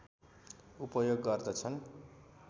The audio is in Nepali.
उपयोग गर्दछन्